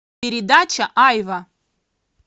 передача айва